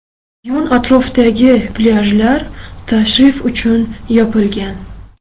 Yon-atrofdagi plyajlar tashrif uchun yopilgan.